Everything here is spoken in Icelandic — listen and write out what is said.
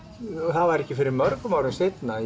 það var ekki fyrr en mörgum árum seinna